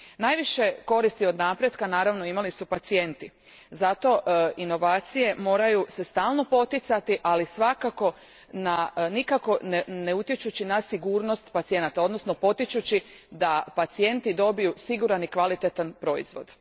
Najviše koristi od napretka, naravno, imali su pacijenti, zato se inovacije moraju stalno poticati, ali svakako, nikako ne utječući na sigurnost pacijenata odnosno potičući da pacijenti dobiju siguran i kvalietan proizvod.